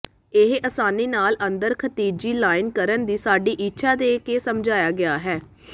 ਇਹ ਆਸਾਨੀ ਨਾਲ ਅੰਦਰ ਖਿਤਿਜੀ ਲਾਈਨ ਕਰਨ ਦੀ ਸਾਡੀ ਇੱਛਾ ਦੇ ਕੇ ਸਮਝਾਇਆ ਗਿਆ ਹੈ